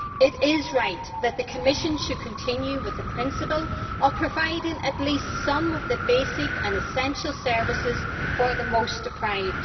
It is right that the Commission should continue with the principle of providing at least some of the basic and essential services for the most deprived.